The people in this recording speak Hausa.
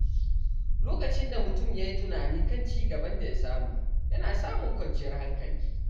Lokacin da mutum ya yi tunani kan ci gaban da ya samu, yana samun kwanciyar hankali.